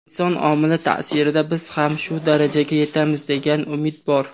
inson omili taʼsirida biz ham shu darajaga yetamiz degan umid bor.